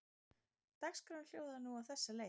Dagskráin hljóðaði nú á þessa leið